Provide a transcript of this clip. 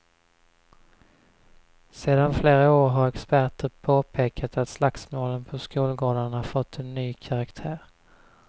Sedan flera år har experter påpekat att slagsmålen på skolgårdarna fått en ny karaktär.